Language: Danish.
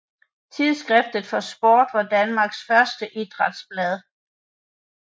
Tidsskrift for Sport var Danmarks første idrætsblad